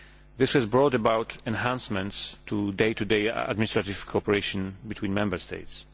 This has brought about enhancements in day to day administrative cooperation between Member States.